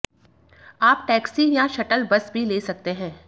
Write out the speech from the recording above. आप टैक्सी या shuttle bus भी ले सकते हैं